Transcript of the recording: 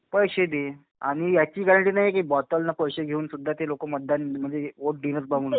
पैसे दे आणि याची गॅरंटी नाही कि बॉटल न पैसे घेऊन सुद्धा ते लोकं मतदान म्हणजे वोट देणार.